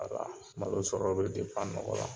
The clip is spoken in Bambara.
malo sɔrɔ be nɔgɔ la.